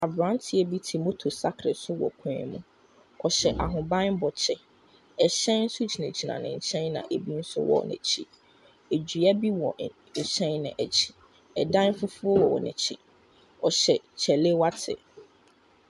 Abranteɛ bi te motor sakre so wɔ kwan mu ɔhyɛ ahoban bɔ kyɛw ɛhyɛn nso gyina gyina nkyɛn na ebi nso wɔ nakyi adua bi wɔ ɛhyɛn no akyi ɛdan fufoɔ wɔ nakyi ɔhyɛ chalewote.